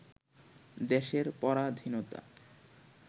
দেশের পরাধীনতা